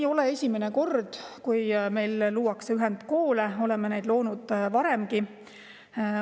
" Ei ole see esimene kord, kui meil luuakse ühendkool, oleme neid loonud varemgi.